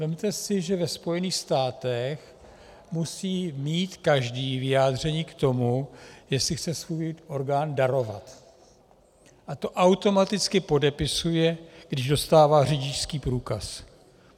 Vezměte si, že ve Spojených státech musí mít každý vyjádření k tomu, jestli chce svůj orgán darovat, a to automaticky podepisuje, když dostává řidičský průkaz.